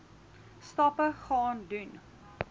stappe gaan doen